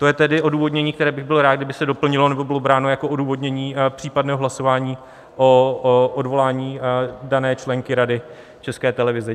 To je tedy odůvodnění, které bych byl rád, kdyby se doplnilo nebo bylo bráno jako odůvodnění případného hlasování o odvolání dané členky Rady České televize.